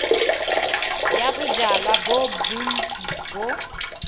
ya bojalwa bo bontsi bo